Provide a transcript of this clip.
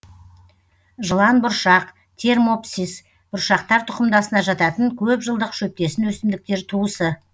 жыланбұршақ термопсис бұршақтар тұқымдасына жататын көп жылдық шөптесін өсімдіктер туысы